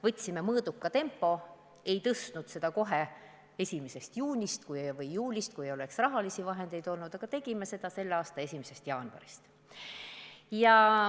Võtsime mõõduka tempo, ei tõstnud seda kohe 1. juulist, milleks ei oleks rahalisi vahendeid olnud, aga tegime seda selle aasta 1. jaanuarist.